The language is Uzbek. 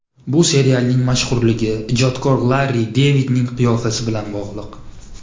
Bu serialning mashhurligi, ijodkor Larri Devidning qiyofasi bilan bog‘liq.